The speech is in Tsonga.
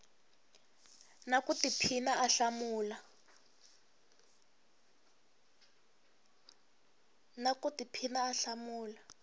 na ku tiphina a hlamula